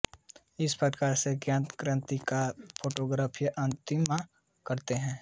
इस प्रकार से ज्ञात कांतिमान को फोटोग्राफीय कांतिमान कहते हैं